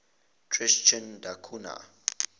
tristan da cunha